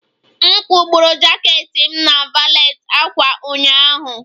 M kwụgburu jaket m na valet ákwà ụnyaahụ